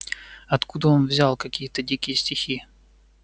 откуда он взял какие-то дикие стихи